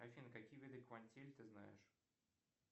афина какие виды квантин ты знаешь